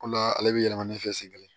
O la ale be yɛlɛma ne fɛ sen kelen